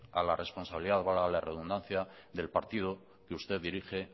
a la responsabilidad valga la redundancia del partido que usted dirige